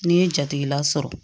N'i ye jatigila sɔrɔ